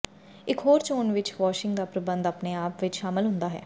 ਇਕ ਹੋਰ ਚੋਣ ਵਿਚ ਵਾਸ਼ਿੰਗ ਦਾ ਪ੍ਰਬੰਧ ਆਪਣੇ ਆਪ ਵਿਚ ਸ਼ਾਮਲ ਹੁੰਦਾ ਹੈ